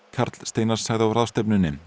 karl Steinar sagði á ráðstefnunni